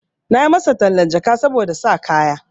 Na yi masa tallan jaka saboda sa kaya.